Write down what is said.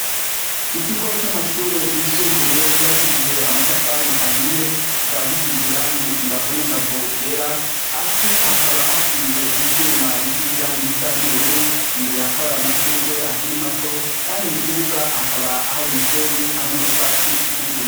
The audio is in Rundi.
Ikigo c'amashure yisumbuye cubakishije amatafari ahiye kikaba gisize iranyi imbavu n'imbavu ryera hasi haka hashinje imvyuma bisize irangi risa n'ubururu , imbere hakaba hari amashure akiri mato kandi mukibuga hakaba ari umusenyi hamwe nutwatsi tukiri duto.